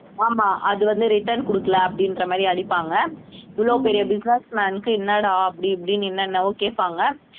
ஆமா அது வந்து return கொடுக்கலை அப்படின்ற மாதிரி அடிப்பாங்க இவ்வளோ பெரிய business man க்கு என்னடா அப்படி இப்படின்னு என்னென்னவோ கேட்பாங்க